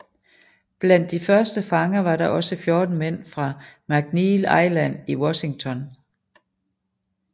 Blandt de første fanger var der også 14 mænd fra McNeil Island i Washington